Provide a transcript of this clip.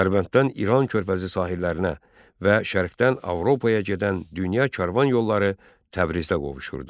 Dərbənddən İran körfəzi sahillərinə və şərqdən Avropaya gedən dünya karvan yolları Təbrizdə qovuşurdu.